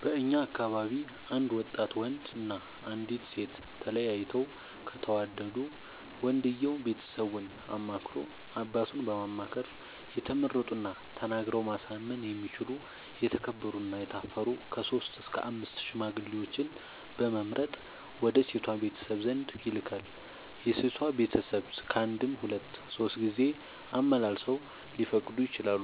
በእኛ አካባቢ አንድ ወጣት ወንድ እና አንዲት ሴት ተያይተው ከተወዳዱ ወንድየው ቤተሰቡን አማክሮ አባቱን በማማከር የተመረጡና ተናግረው ማሳመን የሚችሉ የተከበሩ እና የታፈሩ ከሶስት እስከ አምስት ሽማግሌዎችን በመምረጥ ወደ ሴቷ ቤተሰብ ዘንድ ይልካል። የሴቷ ቤተሰብ ካንድም ሁለት ሶስት ጊዜ አመላልሰው ሊፈቅዱ ይችላሉ።